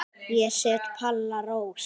Ég set Palla Rós.